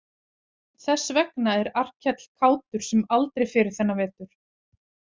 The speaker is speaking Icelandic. Þess vegna er Arnkell kátur sem aldrei fyrr þennan vetur.